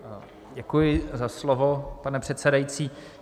Děkuji za slovo, pane předsedající.